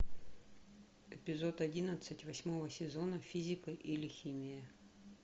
эпизод одиннадцать восьмого сезона физика или химия